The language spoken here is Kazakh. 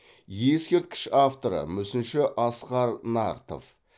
ескерткіш авторы мүсінші асқар нартов